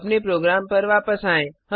अपने प्रोग्राम पर वापस आएँ